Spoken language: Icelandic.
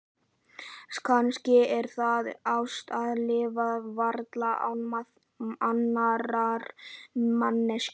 Kannski er það ást að lifa varla án annarrar manneskju.